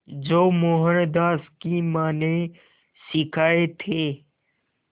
जो मोहनदास की मां ने सिखाए थे